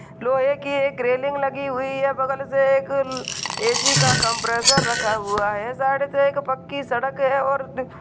लोहे की एक रेलिंग लगी हुई है बगल से एक ए.सी. का कंप्रेसर रखा हुआ है साइड से एक पक्की सड़क है और --